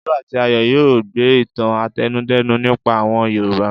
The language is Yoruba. Olú àti Ayọ̀ yóò gbọ́ ìtàn àtẹnudẹ́nu nípa àwọn Yorùbá.